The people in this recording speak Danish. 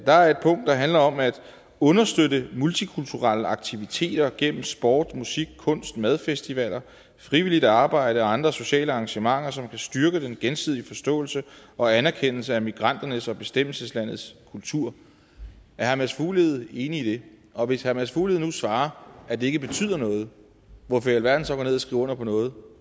er et punkt der handler om at understøtte multikulturelle aktiviteter gennem sport musik kunst madfestivaler frivilligt arbejde og andre sociale arrangementer som kan styrke den gensidige forståelse og anerkendelse af migranternes og bestemmelseslandets kultur er herre mads fuglede enig i det og hvis herre mads fuglede nu svarer at det ikke betyder noget hvorfor i alverden så gå ned at skrive under på noget